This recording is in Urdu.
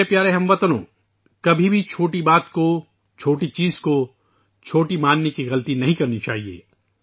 میرے پیارے ہم وطنو ، کبھی بھی چھوٹی بات کو چھوٹی چیز کو چھوٹی سمجھنے کی غلطی نہیں کرنی چاہیے